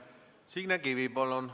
Signe Kivi, palun!